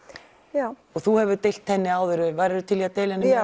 já og þú hefur deilt henni áður værirðu til í að deila henni